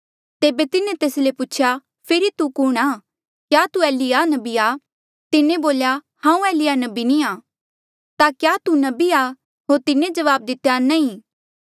तेबे तिन्हें तेस ले पूछेया फेरी तू कुणहां क्या तू एलिय्याह नबी आ तिन्हें बोल्या हांऊँ एलिय्याह नबी नी आं ता क्या तू नबी आ होर तिन्हें जवाब दितेया नी